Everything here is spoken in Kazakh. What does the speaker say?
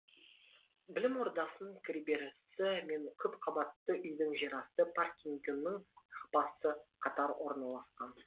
білім ордасының кіреберісі мен көпқабатты үйдің жерасты паркингінің қақпасы қатар орналасқан